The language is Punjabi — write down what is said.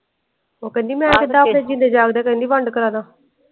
ਉਹ ਕਹਿੰਦੀ ਮੈਂ ਤੇ ਪਾਪੀ ਦੇ ਜੀਂਦੇ ਜਾਗਦੇ ਕਹਿੰਦੀ ਵੰਡ ਕਰਵਾਦਾ।